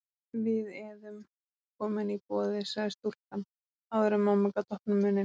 Við eðum komin í boðið, sagði stúlkan áður en mamma gat opnað munninn.